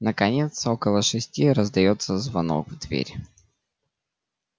наконец около шести раздаётся звонок в дверь